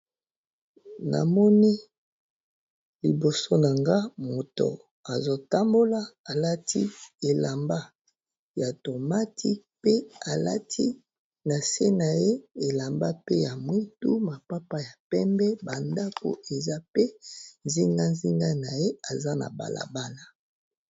Namoni liboso na nga moto azotambola alati elamba ya tomati pe alati na se na ye elamba pe ya mwitu mapapa ya pembe bandako eza pe zingazinga na ye eza na balabana.